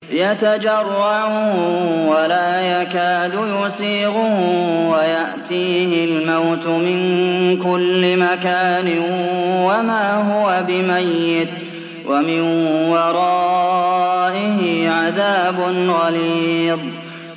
يَتَجَرَّعُهُ وَلَا يَكَادُ يُسِيغُهُ وَيَأْتِيهِ الْمَوْتُ مِن كُلِّ مَكَانٍ وَمَا هُوَ بِمَيِّتٍ ۖ وَمِن وَرَائِهِ عَذَابٌ غَلِيظٌ